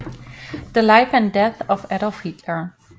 The Life and Death of Adolf Hitler